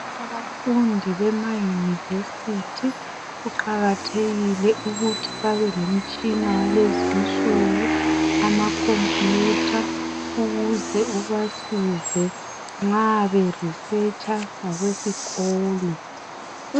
Abafundi bemayunivesithi, kuqakathekile ukuthi babe lomtshina walezi insuku, amakhompuyutha ukuze ubasize nxa berisetsha ngokwesikolo.